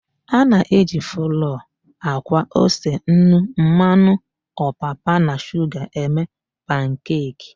A na-eji flọọ, àkwá, ose, nnu, mmanụ ọpapa na shuga eme pankeki.